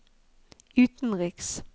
utenriks